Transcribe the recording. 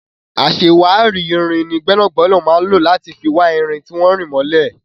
Aṣàwárí irin ni gbẹ́nàgbẹ́nà máa ń lò láti fi wá irin tí wọ́n rì mọ́lẹ̀.